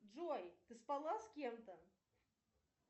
джой ты спала с кем то